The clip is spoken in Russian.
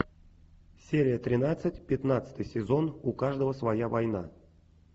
серия тринадцать пятнадцатый сезон у каждого своя война